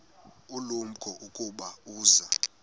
ulumko ukuba uza